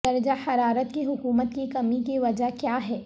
درجہ حرارت کی حکومت کی کمی کی وجہ کیا ہے